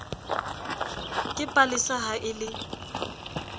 ke palesa ha e le